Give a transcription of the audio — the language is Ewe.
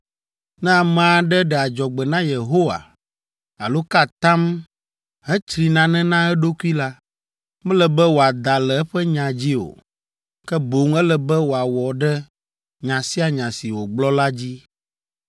Ne ame aɖe ɖe adzɔgbe na Yehowa alo ka atam hetsri nane na eɖokui la, mele be wòada le eƒe nya dzi o, ke boŋ ele be wòawɔ ɖe nya sia nya si wògblɔ la dzi.